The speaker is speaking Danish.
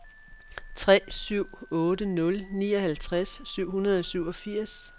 tre syv otte nul nioghalvtreds syv hundrede og syvogfirs